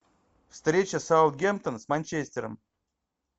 встреча саутгемптон с манчестером